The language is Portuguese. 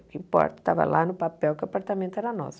O que importa estava lá no papel que o apartamento era nosso.